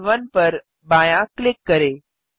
start 1 पर बायाँ click करें